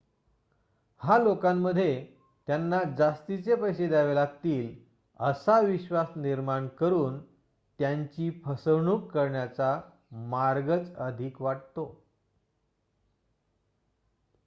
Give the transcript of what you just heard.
हा लोकांमध्ये त्यांना जास्तीचे पैसे द्यावे लागतील असा विश्वास निर्माण करून त्यांची फसवणूक करण्याचा मार्गच अधिक वाटतो